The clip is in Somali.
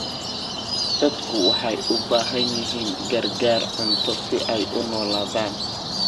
Dadku waxay u baahan yihiin gargaar cunto si ay u noolaadaan.